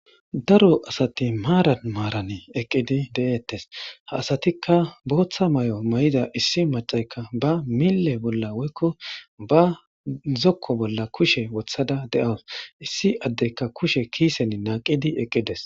Daro asati maaran maaran eqqidi de'eettes ha asatikka booththa may'o may'ida issi macaykka ba mille bolla woykko ba zokko bolla kushe wothada de'awus issi addekka kushe kiisen naaqidi eqqides